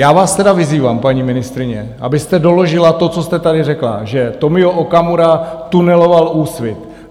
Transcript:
Já vás tedy vyzývám, paní ministryně, abyste doložila to, co jste tady řekla - že Tomio Okamura tuneloval Úsvit.